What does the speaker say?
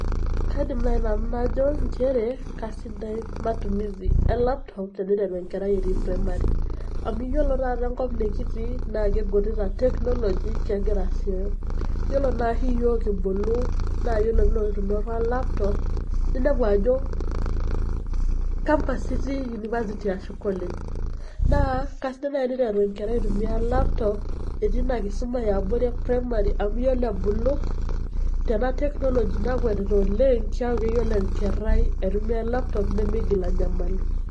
Kaidim nai nanu najo njere kasidai matumizi e laptop teniteru enkerai etiii primari. Amu iyiolo taata enkop nekitii naa igutitat teknoloji kegira asioyo, iyiolo naari iyiok kibulu naa iyiolo piilotu oltung'ani ai tumia laptop, ninepu ajo campu itii, university ashu college. Naa kasidai nai eniteru enkerai ai tumia laptop etii ina kisuma e abori e primari amu iyiolo ebulu tena teknoloji nakwetitat oleng' keeku keyiolo enkerai aitumia e laptop nemiigil anyamalu.